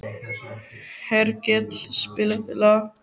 Hergill, spilaðu lag.